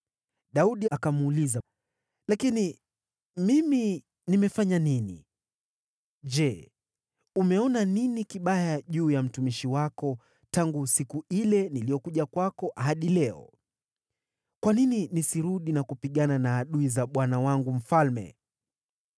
Daudi akamuuliza Akishi, “Lakini mimi nimefanya nini? Je, umeona nini kibaya juu ya mtumishi wako tangu siku ile niliyokuja kwako hadi leo? Kwa nini nisirudi na kupigana na adui za bwana wangu mfalme?”